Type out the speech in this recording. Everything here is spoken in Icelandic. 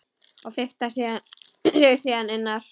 Og fikrar sig síðan innar?